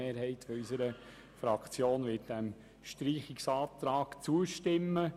Eine Mehrheit unserer Fraktion wird diesem Streichungsantrag zustimmen.